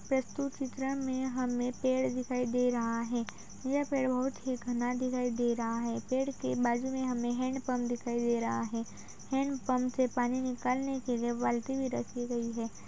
प्रस्तुत चित्रण में हमें पेड़ दिखाई दे रहा है। यह पेड़ बहुत ही घना दिखाई दे रहा है। पेड़ के बाजु में हमें हैंड पंप दिखाई दे रहा है। हैंड पंप से पानी निकालनें के लिए बाल्टी भी रखी गई है।